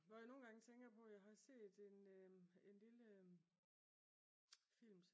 Når jeg nogle gange tænker på jeg har set en lille film